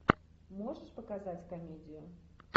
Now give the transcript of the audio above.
можешь показать комедию